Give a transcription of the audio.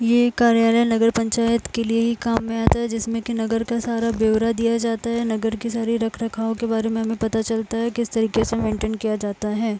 ये कार्यालय नगर पंचायत के लिए ही काम में आता है जिसमें कि नगर सा सारा बेवरा दिया जाता है। नगर की सारे रख रखा यो के बारे में पता चलता है कि कीस तरीके से मेन्टेन किया जाता है।